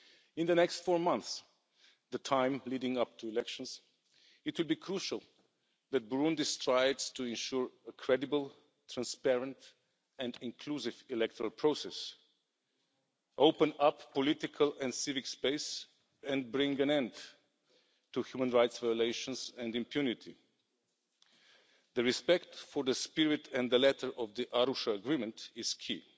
In the next four months, the time leading up to the elections, it will be crucial that Burundi strives to ensure a credible, transparent and inclusive electoral process, open up political and civic space and bring an end to human rights violations and impunity. Respect for the spirit and the letter of the Arusha Agreement is key.